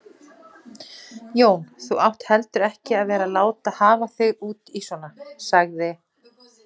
Jón, þú átt heldur ekki að vera að láta hafa þig út í svona sagði